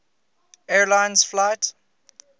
air lines flight